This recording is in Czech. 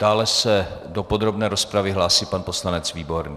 Dále se do podrobné rozpravy hlásí pan poslanec Výborný.